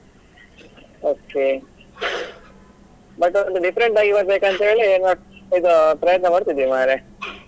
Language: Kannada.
Okay but ಅವ್ರದ್ದು different ಆಗಿ ಬರ್ಬೇಕು ಅಂತ ಹೇಳಿ ಇದು ಪ್ರಯತ್ನ ಮಾಡ್ತಿದ್ದೀವಿ ಮಾರ್ರೆ.